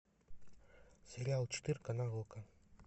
сериал четырка на окко